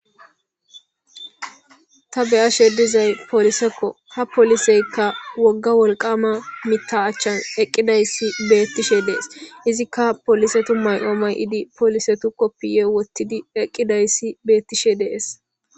ta beyashe dizay polisekko ha poliseykka wogga wolqama mita achchan eqqidayssi beettishe dees izikka polisetu mayoomay idi polise tu koppiye wottidi eqqidayssi beettishe dees